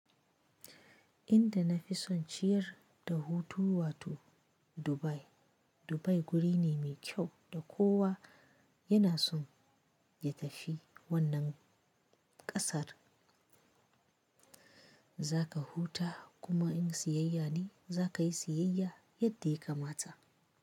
Inda na fi son ciyar da hutu wato Dubai. Dubai guri ne mai kyau da kowa yana son ya tafi wannan ƙasar. Za ka huta kuma in siyayya ne za ka yi siyayya yadda ya kamata.